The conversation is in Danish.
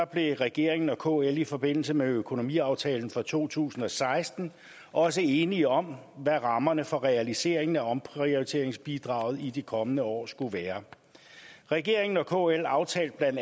blev regeringen og kl i forbindelse med økonomiaftalen for to tusind og seksten også enige om hvad rammerne for realiseringen af omprioriteringsbidraget i de kommende år skulle være regeringen og kl aftalte bla